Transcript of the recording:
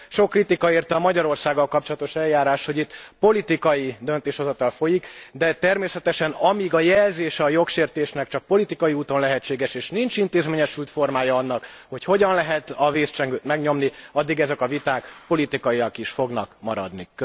Sok kritika érte a Magyarországgal kapcsolatos eljárást, hogy itt politikai döntéshozatal folyik, de természetesen amíg a jelzése a jogsértésnek csak politikai úton lehetséges, és nincs intézményesült formája annak, hogy hogyan lehet a vészcsengőt megnyomni, addig ezek a viták politikaiak is fognak maradni.